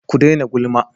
Ku daina gulma!